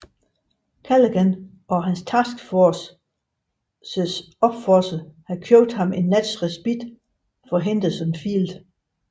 Callaghan og hans task forces opofrelse havde købt en nats respit for Henderson Field